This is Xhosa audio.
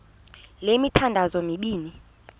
le mithandazo mibini